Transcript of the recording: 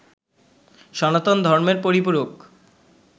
সনাতন ধর্মের পরিপূরক